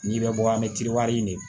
N'i bɛ bɔ an bɛ nin de